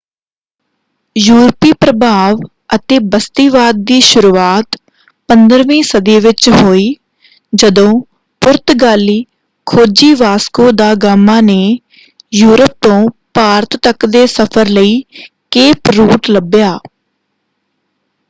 ਯੂਰਪੀ ਪ੍ਰਭਾਵ ਅਤੇ ਬਸਤੀਵਾਦ ਦੀ ਸ਼ੁਰੂਆਤ 15ਵੀਂ ਸਦੀ ਵਿੱਚ ਹੋਈ ਜਦੋਂ ਪੁਰਤਗਾਲੀ ਖੋਜੀ ਵਾਸਕੋ ਦਾ ਗਾਮਾ ਨੇ ਯੂਰਪ ਤੋਂ ਭਾਰਤ ਤੱਕ ਦੇ ਸਫ਼ਰ ਲਈ ਕੇਪ ਰੂਟ ਲੱਭਿਆ।